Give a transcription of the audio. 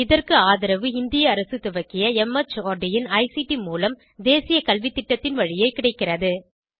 இதற்கு ஆதரவு இந்திய அரசு துவக்கிய மார்ட் இன் ஐசிடி மூலம் தேசிய கல்வித்திட்டத்தின் வழியே கிடைக்கிறது